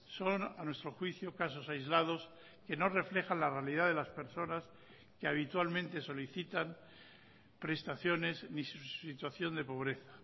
son a nuestro juicio casos aislados que no reflejan la realidad de las personas que habitualmente solicitan prestaciones ni su situación de pobreza